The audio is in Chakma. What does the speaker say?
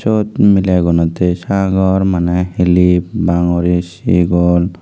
sut mile agonne the sagor Mane clip bangori sigol.